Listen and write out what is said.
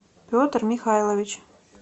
петр михайлович